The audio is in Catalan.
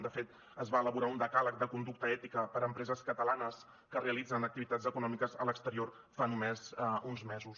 de fet es va elaborar un decàleg de conducta ètica per a empreses catalanes que realitzen activitats econòmiques a l’exterior fa només uns mesos